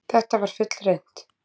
Þetta var fullreynt.